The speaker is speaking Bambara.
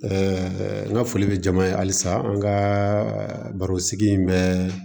n ka foli bɛ jama ye halisa an ka baro sigi in bɛ